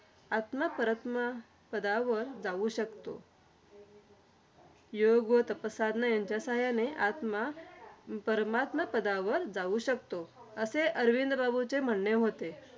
आत्मा परमात्मा पदावर जाऊ शकतो. योग्य व तापसाधना यांच्या साहाय्याने, आत्मा परमात्मा पदावर जाऊ शकतो. असे अरविंद बाबुंचे म्हणणे होते.